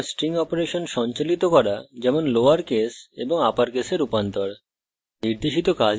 এবং string operation সঞ্চালিত করা যেমন লোয়র case এবং upper case রূপান্তরণ